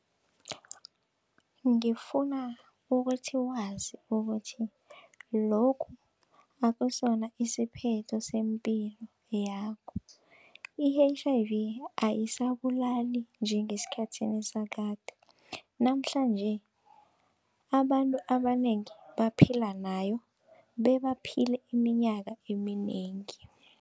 Ngifuna ukuthi wazi ukuthi lokhu akusona isiphetho sempilo yakho. I-H_I_V ayisabulali njengesikhathini sakade namhlanje, abantu abanengi baphila nayo bebaphile iminyaka eminengi.